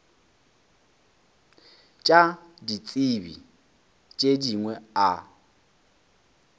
tša ditsebi tše dingwe a